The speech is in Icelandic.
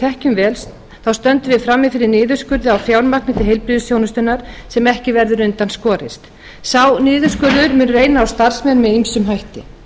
þekkjum vel stöndum við frammi fyrir niðurskurði á fjármagni til heilbrigðisþjónustunnar sem ekki verður undan skorast sá niðurskurður mun reyna á starfsmenn með ýmsum hætti